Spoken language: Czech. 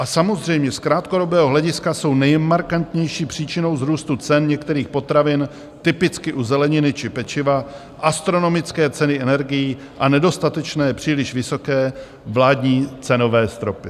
A samozřejmě z krátkodobého hlediska jsou nejmarkantnější příčinou růstu cen některých potravin, typicky u zeleniny či pečiva, astronomické ceny energií a nedostatečné, příliš vysoké vládní cenové stropy.